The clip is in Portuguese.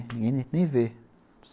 Ninguém nem vê.